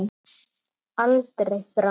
Aldrei framar.